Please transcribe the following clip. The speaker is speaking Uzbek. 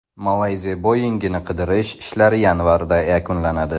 Malayziya Boeing‘ini qidirish ishlari yanvarda yakunlanadi.